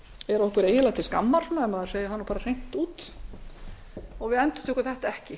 er okkur eiginlega til skammar svo maður segi það bara hreint út við endurtökum þetta ekki